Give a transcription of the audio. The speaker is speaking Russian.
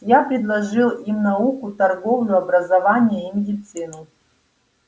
я предложил им науку торговлю образование и медицину